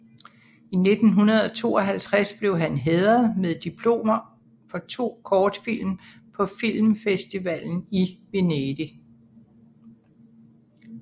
I 1952 blev han hædret med diplomer for to kortfilm på filmfestivalen i Venedig